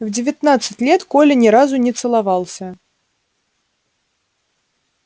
в девятнадцать лет коля ни разу не целовался